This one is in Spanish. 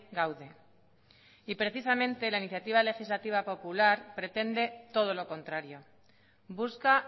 gaude y precisamente la iniciativa legislativa pretende todo lo contrario busca